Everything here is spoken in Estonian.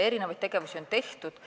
Erinevaid tegevusi on olnud.